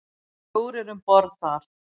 Fjórir um borð þar.